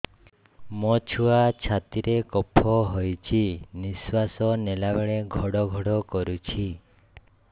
ମୋ ଛୁଆ ଛାତି ରେ କଫ ହୋଇଛି ନିଶ୍ୱାସ ନେଲା ବେଳେ ଘଡ ଘଡ କରୁଛି